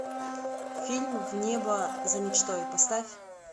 фильм в небо за мечтой поставь